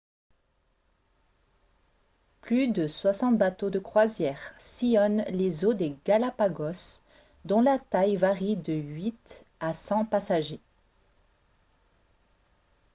plus de 60 bateaux de croisière sillonnent les eaux des galápagos dont la taille varie de 8 à 100 passagers